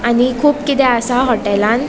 आणि कुब किते आसा हॉटलान .